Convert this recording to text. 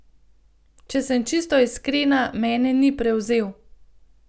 Če sem čisto iskrena, mene ni prevzel.